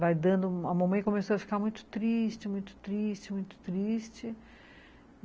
Vai dando... a mamãe começou a ficar muito triste, muito triste, muito triste.